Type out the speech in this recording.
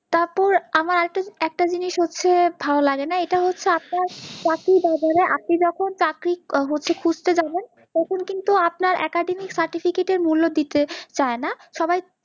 তারপর আমার একটা জিনিস হচ্ছে ভাল লাগেনা এটা হচ্ছে চাকরির বাজারে আপনি যখন চাকরি হচ্ছে খুজতে যাবেন তখন কিন্তু আপনার academics certificate এর মূল্য দিতে চাইনা